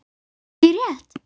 Heyrði ég rétt.